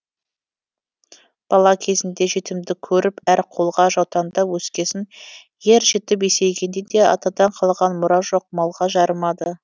бала кезінде жетімдік көріп әр қолға жаутаңдап өскесін ер жетіп есейгенде де атадан қалған мұра жоқ малға жарымады